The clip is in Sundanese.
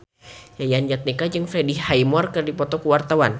Yayan Jatnika jeung Freddie Highmore keur dipoto ku wartawan